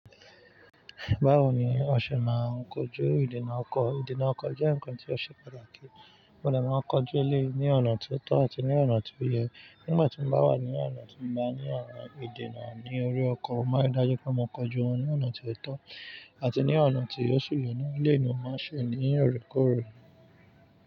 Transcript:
Báwo ni o ṣe máa ń kojú ìdènà ọkọ̀? Ìdènà ọkọ̀ jẹ́ ǹkan tí ó ṣe pàtàkì, mo dẹ̀ máa ń kọ jú eléyìí ní ọ̀nà tó tọ́ àti ní ọ̀nà tí ó yẹ. Nígbà tí mo bá wà ní ọ̀nà tí mo bá ní ìdènà ni ori ọkọ̀ mo má ń rí dájú pé mo kojú wọn ní ọ̀nà tí ó tọ́ àti ní ọ̀nà tí ó sì yẹ́ na, èléyìí ní mo ma ń ṣe ní òrékoore.